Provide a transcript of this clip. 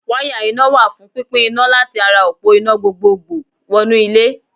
Wáyà iná wà fún pínpín iná láti ara òpó iná gbogbogbò wọnú ilé.